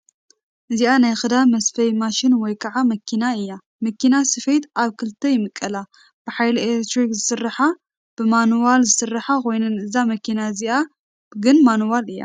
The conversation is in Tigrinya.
እዚኣ ናይ ክዳን መስፈይ ማሽን ወይ ከዓ መኪና እያ፡፡ መኪና ስፌት ኣብ ክልተ ይምቀላ፡፡ ብሓይሊ ኤሌክትሪክ ዝሰርሓን ብማኑዋል ዝሰርሓን ኮይነን እዛ መኪና እዚኣ ግን ማኑዋል እያ፡፡